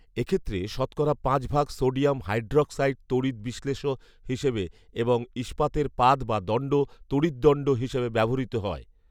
এক্ষেত্রে শতকরা পাঁচ ভাগ সোডিয়াম হাইড্রক্সাইড তড়িৎ বিশ্লেষ্য হিসেবে এবং ইস্পাতের পাত বা দন্ড তড়িৎদন্ড হিসেবে ব্যবহৃত হয়